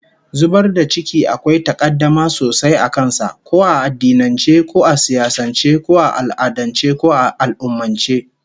Zubar da ciki akwai takaddama sosai a kan sa, ko a addinance, ko a siyasance, ko a al'adance, ko a al'ummance